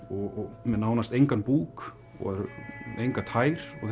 og með nánast engan búk og engar tær og